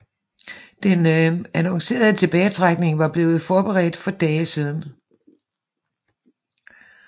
Den annoncerede tilbagetrækning var blevet forberedt for dage siden